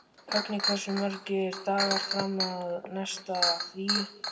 Högni, hversu margir dagar fram að næsta fríi?